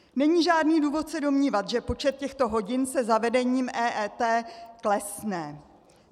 Není žádný důvod se domnívat, že počet těchto hodin se zavedením EET klesne.